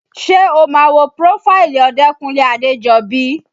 Ṣé o máa wo prófáìlì Odekunle Adejobi?